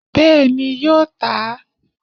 Bẹ́ẹ̀ni yóò tà á